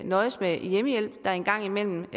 nøjes med hjemmehjælp der en gang imellem